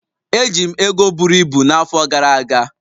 Eji m ego buru ibu n'afọ gara aga.